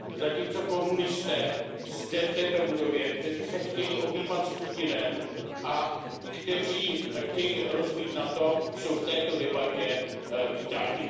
zatímco komunisté zde v této budově, kteří se chtějí objímat s Putinem a kteří chtějí rozbít NATO, jsou v této debatě vítáni.